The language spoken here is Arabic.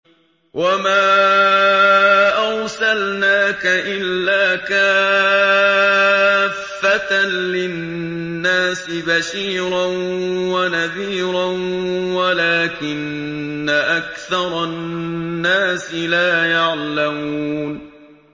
وَمَا أَرْسَلْنَاكَ إِلَّا كَافَّةً لِّلنَّاسِ بَشِيرًا وَنَذِيرًا وَلَٰكِنَّ أَكْثَرَ النَّاسِ لَا يَعْلَمُونَ